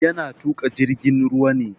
Yana tuƙa jirgin ruwa ne.